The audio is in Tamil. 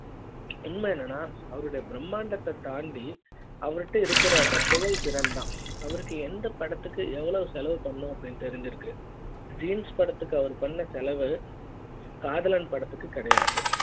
உண்மை என்னனா அவருடைய பிரம்மாண்டத்தைத் தாண்டி அவருக்கு இருக்குற அந்த செயல் திறன் தான் அவருக்கு எந்த படத்துக்கு எவ்ளோ செலவு பண்ணனும் அப்டின்னு தெரிஞ்சிருக்கு jeans படத்துக்கு அவர் பண்ண செலவு காதலன் படத்துக்கு கிடையாது